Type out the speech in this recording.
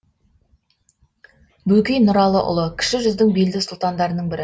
бөкей нұралыұлы кіші жүздің белді сұлтандарының бірі